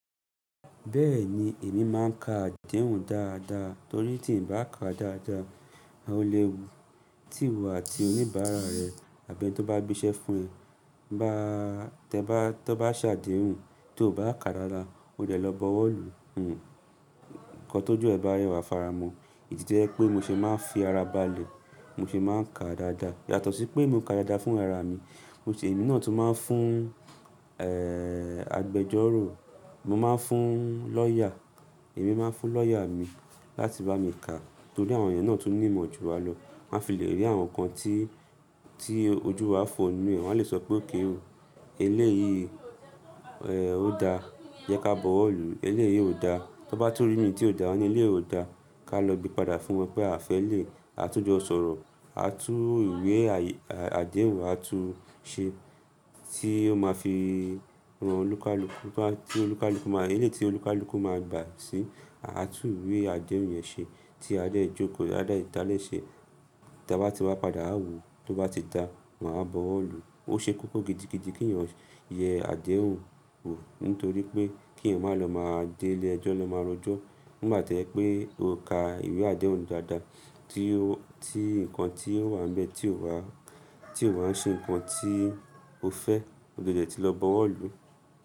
Bẹ́ẹ̀ni, èmi máa ń ka àdéhùn dáadáa torí tí n bá ka dáadáa, o lè wù tíwo àti oníbàárà rẹ àbí ẹni tó bá gbéṣẹ́ fún ẹ. Tẹ bá, tọ bá sàdéhùn tí o bá ka dáadáa, o dẹ̀ lọ bọwọ́ lù. Nǹkan tó ju ẹ ba ri wà faramọ̀. Èyí to jẹ́ pé mo ṣe máa ń fi ara ba lè, mo ṣe máa ń ka dáadáa. Yàtọ̀ sí pé mo ka dáadáa fún ara mi, mo ṣe, èmi náà tún máa ń fún, ẹ́ẹ́, agbẹjọ́rò. Mo máa ń fún lawyer, èmi máa ń fún lawyer mi láti bá mi ka torí àwọn èèyàn náà tún ní ìmọ̀ ju wa lọ. Wọ́n a fi lè rí àwọn nǹkan tí, tí ojú wa fò nnu e, wọ́n a lè sọ pé okay o. Eleyí, ẹ́ẹ́, ó dá, jẹ́ ká bọwọ́ lù. Elé yìí ò dá, tó n bá tú rí mi tí ò dání ilé ò dá, ká lọ gbe padà fún wọn pé àfẹ́lẹ̀, a tún jọ sọ̀rọ̀, a tún ìwé àdéhùn wa tún ṣe tí ó máa fi ran olúkalúkú, tí olúkalúkú máa, eléyi tí olúkalúkú máa gbà sí, à tún ìwé àdéhùn yẹn ṣe tí a de jókòó, a de ta de ṣe. Ta bá ti wá padà, wa wo. Tó bá ti dá, máa bọwọ́ lù. Ó ṣe kókó gidigidi kí èèyàn yẹ àdéhùn wò nítorí pé kí ẹ̀yin má lọ máa dé ilé ẹjọ́, lọ máa rojọ́. Ni ìgbà to jepé o ka ìwé àdéhùn dáadáa tí o, tí nǹkan tí ó wà ńbẹ̀ tí o wà, tí o wà ń ṣe nǹkan tí o fẹ́, o di ọ dẹ ti lọ bọwọ́ lù.